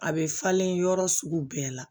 A bɛ falen yɔrɔ sugu bɛɛ la